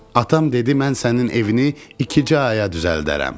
Atam dedi mən sənin evini iki aya düzəldərəm.